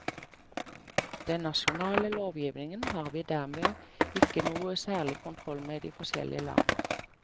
Den nasjonale lovgivningen har vi dermed ikke noe særlig kontroll med i de forskjellige land.